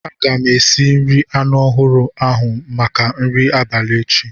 Aga m esi nri anu ahuru ahu maka nri abalị echi.